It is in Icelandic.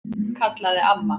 kallaði amma.